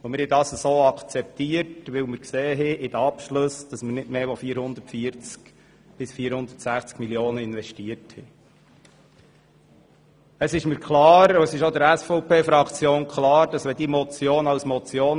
Wir haben dies so akzeptiert, weil wir bei den Abschlüssen gesehen haben, dass man nicht mehr als 440–460 Mio. Franken investiert hat.